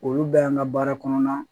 Olu bɛ an ka baara kɔnɔna na